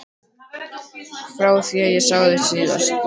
Frá því ég sá þig síðast.